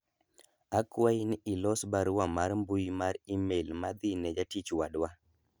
akwayi ni ilos barua mar mbui mar email madhi ne jatich wadwa